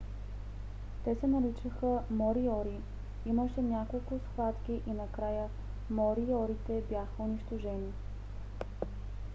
те се наричаха мориори. имаше няколко схватки и накрая мориорите бяха унищожени